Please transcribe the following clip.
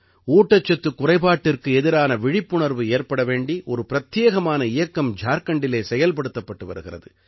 ஊட்டச்சத்துக் குறைபாட்டிற்கு எதிரான விழிப்புணர்வு ஏற்பட வேண்டி ஒரு பிரத்யேகமான இயக்கம் ஜார்க்கண்டிலே செயல்படுத்தப்பட்டு வருகிறது